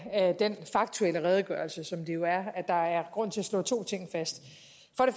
af den faktuelle redegørelse som det jo er at der er grund til at slå to ting fast